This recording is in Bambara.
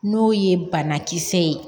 N'o ye banakisɛ ye